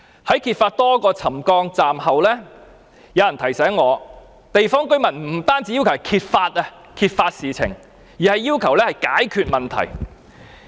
在揭發多個車站範圍出現沉降後，有人提醒我，地方居民不單要求揭發事情，而是要求解決問題。